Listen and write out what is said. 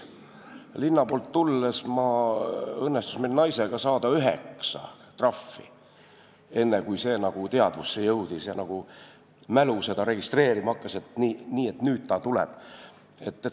Linna poolt tulles õnnestus mul ja minu naisel saada üheksa trahvi, enne kui teadvusse jõudis ja mälu registreerima hakkas, et nii, nüüd ta tuleb.